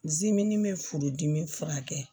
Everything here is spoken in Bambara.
bɛ furudimi furakɛ